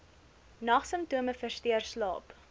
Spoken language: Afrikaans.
nagsimptome versteur slaap